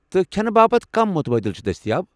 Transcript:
تہٕ كھینہٕ باپت كم مُتبٲدِل چھِ دستیاب ؟